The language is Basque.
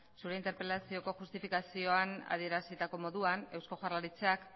zure interpelazioko justifikazioan adierazitako moduan eusko jaurlaritzak